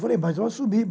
Falei, mas eu assumi.